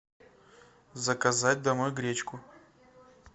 заказать домой гречку